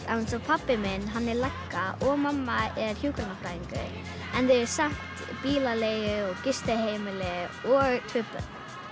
alveg eins og pabbi minn hann er lögga og mamma er hjúkrunarfræðingur en þau eiga samt bílaleigu og gistiheimili og tvö börn